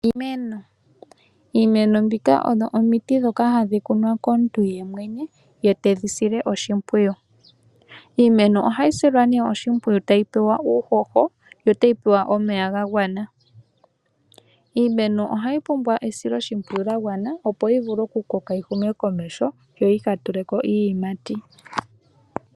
Iimeno mbika oyo omiti ndhoka hadhi kunwa komuntu yemwene ye tedhi sile oshimpwiyu. Iimeno ohayi silwa oshimpwiyu tayi pewa uuhoho yo tayi pewa omeya ga gwana. Iimeno ohayi pumbwa esiloshimpwiyu lya gwana opo yi vule okukoka yi hume komeho yo yi ka tule ko iiyimati.